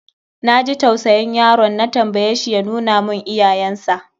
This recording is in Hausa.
Na ji tausayin yaron, na tambaye shi ya nuna mun iyayensa.